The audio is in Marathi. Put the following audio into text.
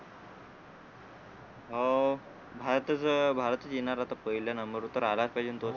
हो भारतच भारतच येणार आता पहिल्या number वर तर आलाच पाहिजे तो